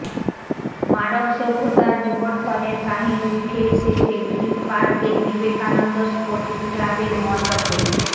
মানব সভ্যতার বিবর্তনের কাহিনি উঠে এসেছে গ্রিনপার্কের বিবেকানন্দ স্পোর্টিং ক্লাবের মণ্ডপে